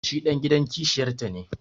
shi dan gidan kishiyarta ne